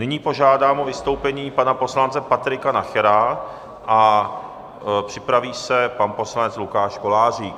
Nyní požádám o vystoupení pana poslance Patrika Nachera a připraví se pan poslanec Lukáš Kolářík.